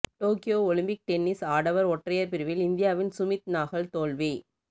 Tokyo Olympic tennis ஆடவர் ஒற்றையர் பிரிவில் இந்தியாவின் சுமித் நாகல் தோல்வி